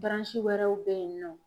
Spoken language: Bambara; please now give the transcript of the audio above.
wɛrɛw bɛ yen nɔ.